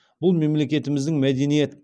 бұл мемлекетіміздің мәдениет